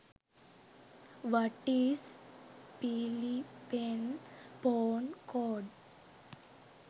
what is phillipene phone code